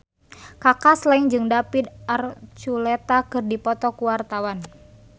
Kaka Slank jeung David Archuletta keur dipoto ku wartawan